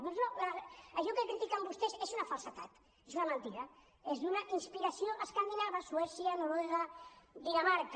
doncs no això que critiquen vostès és una falsedat és una mentida és d’una inspiració escandinava suècia noruega dinamarca